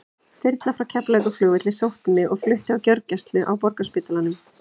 Þyrla frá Keflavíkurflugvelli sótti mig og flutti á gjörgæslu á Borgarspítalanum.